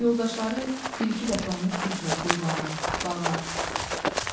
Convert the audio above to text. Yoldaşları bir-iki dəfə onu güclə bulvara, bağa